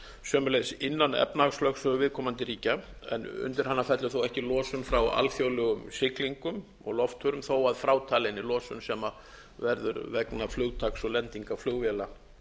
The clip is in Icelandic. sömuleiðis innan efnahagslögsögu viðkomandi ríkja undir hennar fellur þó ekki losun frá alþjóðlegum siglingum og loftförum þó að frátalinni losun sem verður vegna flugtaks og lendingar flugvéla